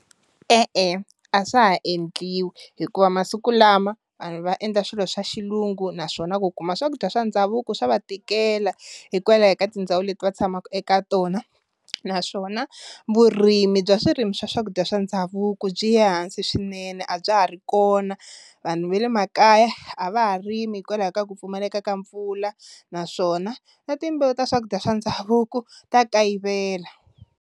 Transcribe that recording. E-e a swa ha endliwi hikuva masiku lama vanhu va endla swilo swa xilungu naswona ku kuma swakudya swa ndhavuko swa va tikela hikwalaho ka tindhawu leti va tshamaka eka tona, naswona vurimi bya swirimi swa swakudya swa ndhavuko byi ya ehansi swinene a bya ha ri kona vanhu va le makaya a va ha rimi hikwalaho ka ku pfumaleka ka mpfula naswona na timbewu ta swakudya swa ndhavuko ta kayivela.